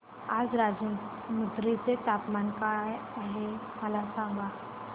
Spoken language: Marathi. आज राजमुंद्री चे तापमान काय आहे मला सांगा